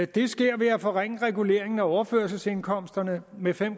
det sker ved at forringe reguleringen af overførselsindkomsterne med fem